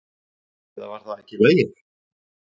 Eða var það ekki í lagi?